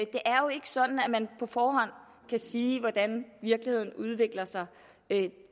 er jo ikke sådan at man på forhånd kan sige hvordan virkeligheden udvikler sig